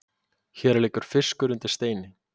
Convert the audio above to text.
Hér liggur fiskur undir steini